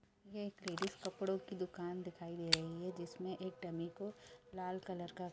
ये एक लेडिस कपड़ो की दुकान दिखाई दे रही है जिसमें एक डमी को लाल कलर का --